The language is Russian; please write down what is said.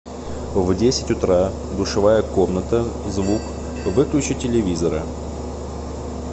в десять утра душевая комната звук выключи телевизора